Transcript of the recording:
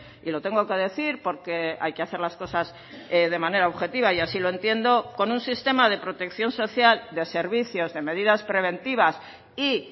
y lo tengo que decir porque hay que hacer las cosas de manera objetiva y así lo entiendo con un sistema de protección social de servicios de medidas preventivas y